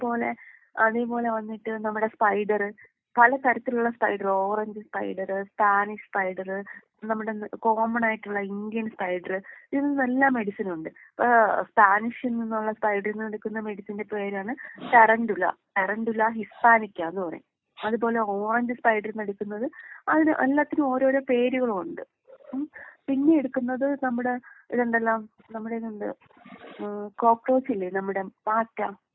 അതേപോലെ അതേപോലെ വന്നിട്ട് നമ്മടെ സ്പൈഡറ് പല തരത്തിലുള്ള spider orange spider, Spanish spider നമ്മുടെ കോമൺ ആയിട്ടുള്ള ഇന്ത്യൻ സ്പൈഡറ് ഇതിൽ നിന്നെല്ലാം മെഡിസിനുണ്ട്. ഇപ്പോ സ്പാനിഷിൽ നിന്നുള്ള സ്പൈഡർ നിന്ന് എടുക്കുന്ന മെഡിസിന്റെ പേരാണ് ശരന്തുള ശരന്തുള ഹിസ്സാനിക്ക എന്ന് പറയും. അതേ പോലെ ഓറഞ്ച് സ്പൈഡറിൽ നിന്നെടുക്കുന്നത് അതിന് എല്ലാത്തിനും ഓരോരോ പേരുകളുണ്ട്. മ്മ് പിന്നേ എടുക്കുന്നത് നമ്മുടേ ഇതുണ്ടല്ലോ നമ്മുടെ എന്താ ഏഹ് കോക്രോച് ഇല്ലേ? നമ്മുടെ പാറ്റ.